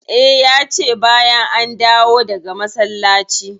E, ya ce bayan an dawo daga masallaci.